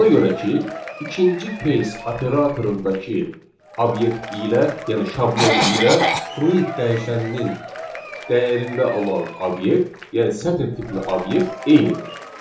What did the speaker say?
Ona görə ki, ikinci case operatorundakı obyekt ilə, yəni şablonu ilə fruit dəyişəninin dəyərində olan obyekt, yəni sətr tipli obyekt eynidir.